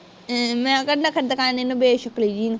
ਮੈਂ ਕਿਹਾ ਨਖਰੇ ਦਿਖਾਣ ਨੂੰ ਬੇਸ਼ਕਲੀ ਜਿਹੀ